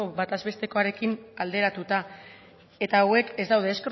bataz bestekoarekin alderatuta eta hauek ez daude ez